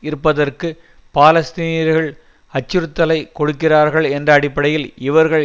இருப்பதற்கு பாலஸ்தீனியர்கள் அச்சுறுத்தலை கொடுக்கிறார்கள் என்ற அடிப்படையில் இவர்கள்